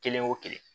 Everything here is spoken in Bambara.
Kelen o kelen